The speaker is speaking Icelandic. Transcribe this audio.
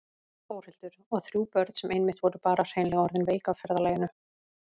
Þórhildur: Og þrjú börn sem einmitt voru bara hreinlega orðin veik af ferðalaginu?